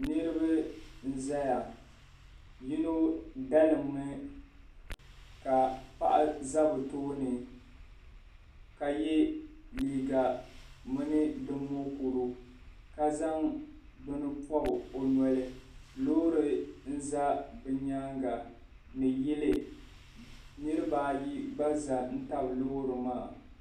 Niriba n zaya yino dalim mi ka paɣi za bi tooni ka yɛ liiga mini di mukuri ka zaŋ bini npɔbi o noli loori n za bi yɛanga ni yili niriba ayi gba za n tabi loori maa